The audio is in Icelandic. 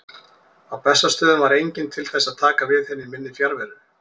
Á Bessastöðum var enginn til þess að taka við henni í minni fjarveru.